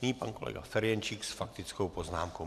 Nyní pan kolega Ferjenčík s faktickou poznámkou.